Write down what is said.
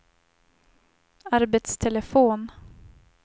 arbetstelefon